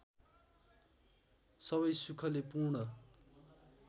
सबै सुखले पूर्ण